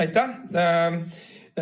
Aitäh!